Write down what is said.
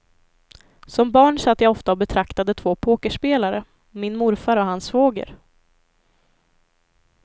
Som barn satt jag ofta och betraktade två pokerspelare, min morfar och hans svåger.